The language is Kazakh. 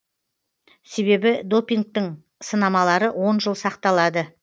себебі допингтің сынамалары он жыл сақталады